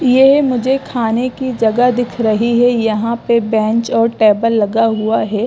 ये मुझे खाने की जगह दिख रही है यहां पे बेंच और टैबल लगा हुआ है।